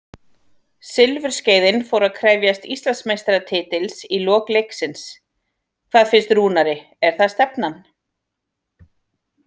Silfurskeiðin fór að krefjast Íslandsmeistaratitils í lok leiksins, hvað finnst Rúnari, er það stefnan?